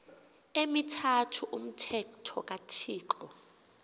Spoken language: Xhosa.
emithathu umthetho kathixo